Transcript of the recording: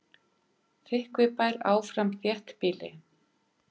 Þykkvibær áfram þéttbýli